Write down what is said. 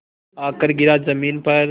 आकर गिरा ज़मीन पर